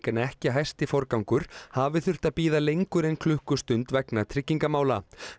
en ekki hæsti forgangur hafi þurft að bíða lengur en klukkustund vegna tryggingamála